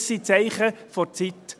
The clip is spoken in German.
Das sind die Zeichen der Zeit.